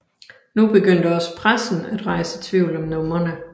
Nu begyndte også pressen at rejse tvivl om numrene